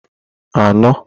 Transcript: anọ